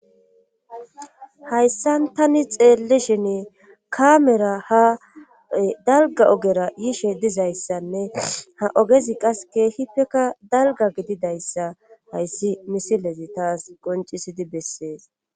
hayssan tani xeelli shin kaamera ha dalga ogera yishe dizayssanne ha ogezi qaseke hipeka dalga gididayssa hayssi misilezi taas qoncisidi bessees